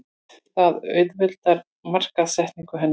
Það auðveldar markaðssetningu hennar.